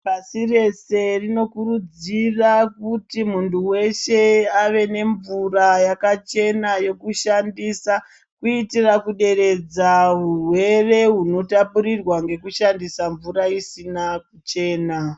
Pasi rese rino kuru dzira kuti mundu weshe ave nemvura yakachena yekushandisa kuitira kuderedza hurwere hunotapururwa ngeku shandisa mvura isina kuchena.